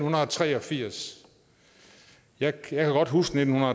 tre og firs jeg kan desværre godt huske nitten